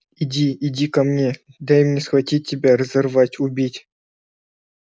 иди иди ко мне дай мне схватить тебя разорвать убить